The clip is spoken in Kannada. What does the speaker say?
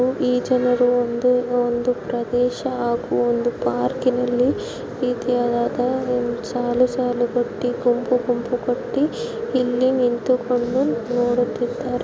ಈ ಜನರು ಒಂದು ಒಂದು ಪ್ರದೇಶ ಹಾಗೂ ಒಂದು ಪಾರ್ಕಿನಲ್ಲಿ ಈ ರೀತಿಯಾದ ಸಾಲು ಸಾಲುಗಟ್ಟಿ ಗುಂಪು ಗುಂಪು ಕಟ್ಟಿ ಇಲ್ಲಿ ನಿಂತುಕೊಂಡು ನೋಡುತ್ತಿದ್ದಾರೆ